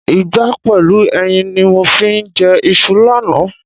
Ìgbá pẹ̀lú ẹyin ni mo fi jẹ iṣu lánàá.